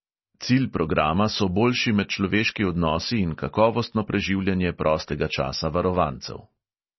Cilj programa so boljši medčloveški odnosi in kakovostno preživljanje prostega časa varovancev.